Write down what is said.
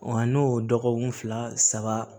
Wa n'o dɔgɔkun fila saba